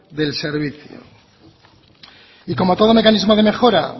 del servicio y como todo mecanismo de mejora